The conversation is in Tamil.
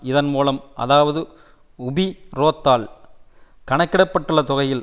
இதன் மூலம் அதாவது உபிரோத்தால் கணக்கிடப்பட்டுள்ள தொகையில்